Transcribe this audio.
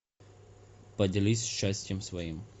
поделись счастьем своим